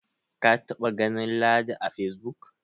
ka taba ganin ladi a face book